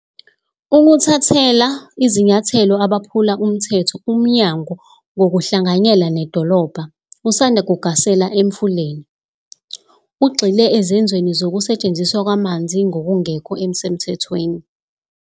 Ukuthathela izinyathelo abaphula umthetho Umnyango ngokuhlanganyela nedolobha usanda kugasela eMfuleni, ugxile ezenzweni zokusetshenziswa kwamanzi ngokungekho semthethweni.